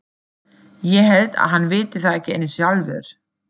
Ég held að hann viti það ekki einu sinni sjálfur.